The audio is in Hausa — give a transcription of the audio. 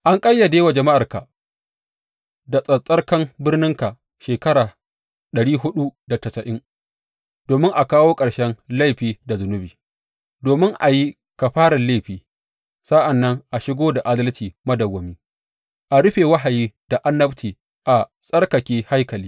An ƙayyade wa jama’arka da tsattsarkan birninka shekara ɗari huɗu da tasa’in domin a kawo ƙarshen laifi da zunubi, domin a yi kafarar laifi, sa’an nan a shigo da adalci madawwami, a rufe wahayi da annabci, a tsarkake haikali.